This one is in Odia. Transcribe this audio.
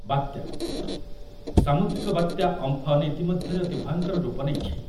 ବାତ୍ୟା, ସାମୁଦ୍ରିକ ବାତ୍ୟା ଅମ୍ଫନ୍ ଇତିମଧ୍ୟରେ ଅତି ଭୟଙ୍କର ରୂପ ନେଇଛି ।